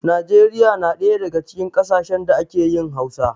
Nijeriya na daya daga cikin ƙasashen da ake yin Hausa.